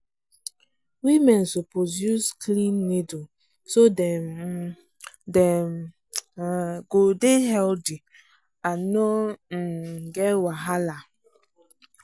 women suppose use clean needle so dem um dem um go dey healthy and no um get wahala